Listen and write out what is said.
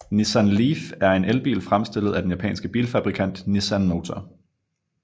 Nissan Leaf er en elbil fremstillet af den japanske bilfabrikant Nissan Motor